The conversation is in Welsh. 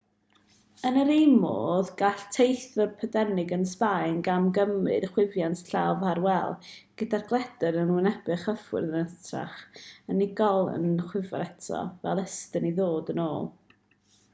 yn yr un modd gall teithiwr prydeinig yn sbaen gamgymryd chwifiad llaw ffarwel gyda'r gledr yn wynebu'r chwifiwr yn hytrach na'r unigolyn y chwifir ato fel ystum i ddod yn ôl